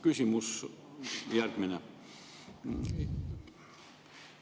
Küsimus järgmine.